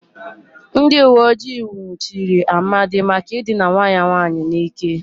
Ndị uweojii nwụchiri Amadi maka ịdịna nwa ya nwaanyị n'ike.